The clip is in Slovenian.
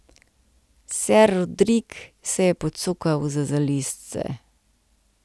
Ser Rodrik se je pocukal za zalizce.